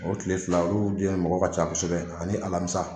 O tile fila olu den mɔgɔ ka ca kosɛbɛ ani alamisa.